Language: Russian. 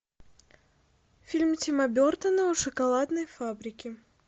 фильм тима бертона о шоколадной фабрике